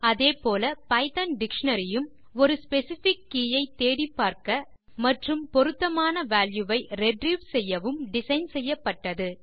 அதே போல Python dictionary யும் ஒரு ஸ்பெசிஃபிக் கே ஐ தேடிப்பார்க்க மற்றும் பொருத்தமான வால்யூ ஐ ரிட்ரீவ் செய்யவும் டிசைன் செய்யப்பட்டது